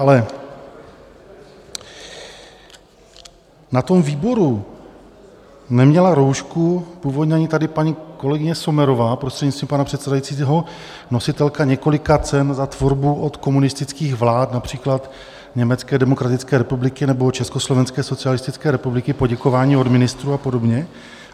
Ale na tom výboru neměla roušku původně ani tady paní kolegyně Sommerová, prostřednictvím pana předsedajícího, nositelka několika cen za tvorbu od komunistických vlád, například Německé demokratické republiky nebo Československé socialistické republiky, poděkování od ministrů a podobně.